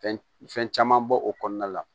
Fɛn fɛn caman bɔ o kɔnɔna la